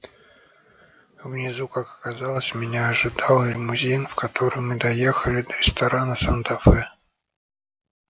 внизу как оказалось меня ожидал лимузин в котором мы доехали до ресторана санта фе